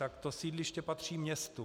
Tak to sídliště patří městu.